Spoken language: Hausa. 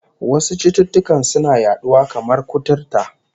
Wasu cututtukan suna yaduwa, kamar kuturta